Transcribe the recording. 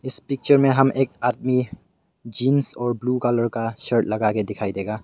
इस पिक्चर में हम एक आदमी जींस और ब्लू कलर का शर्ट लगा के दिखाई देगा।